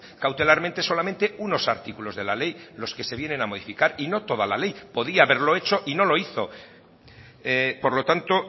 cautelarmente solamente unos artículos de la ley los que se vienen a modificar y no toda la ley podía haberlo hecho y no lo hizo por lo tanto